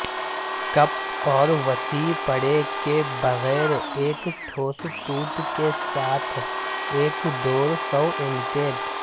cup اور وسیع پٹے کے بغیر ایک ٹھوس ٹوٹ کے ساتھ ایک ڈور سوئمیٹیٹ